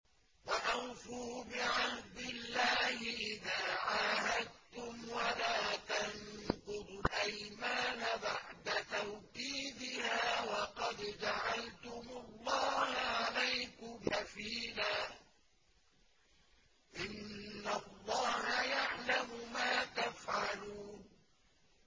وَأَوْفُوا بِعَهْدِ اللَّهِ إِذَا عَاهَدتُّمْ وَلَا تَنقُضُوا الْأَيْمَانَ بَعْدَ تَوْكِيدِهَا وَقَدْ جَعَلْتُمُ اللَّهَ عَلَيْكُمْ كَفِيلًا ۚ إِنَّ اللَّهَ يَعْلَمُ مَا تَفْعَلُونَ